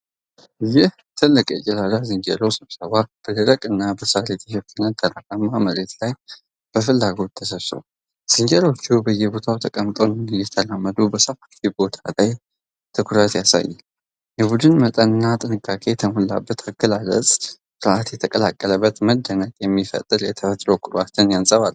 ይህ ትልቅ የጭላዳ ዝንጀሮዎች ስብስብ በደረቅና በሳር የተሸፈነ ተራራማ መሬት ላይ በፍላጎት ተሰብስቧል። ዝንጀሮዎቹ በየቦታው ተቀምጠውና እየተራመዱ በሰፋፊው ቦታ ላይ ትኩረትን ያሳያሉ። የቡድኑ መጠን እና ጥንቃቄ የተሞላበት አገላለጻቸው ፍርሃት የተቀላቀለበት መደነቅን የሚፈጥር የተፈጥሮ ኩራትን ያንፀባርቃል።